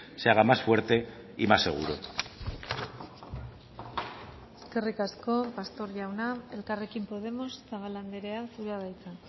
se haga más fuerte y más seguro eskerrik asko pastor jauna elkarrekin podemos zabala andrea zurea da hitza